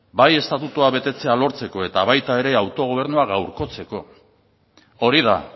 bai estatutua betetzea lortzeko eta baita ere autogobernua gaurkotzeko hori da